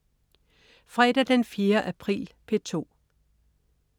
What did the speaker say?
Fredag den 4. april - P2: